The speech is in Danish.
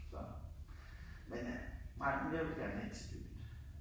Så. Men øh nej men jeg vil gerne herind til byen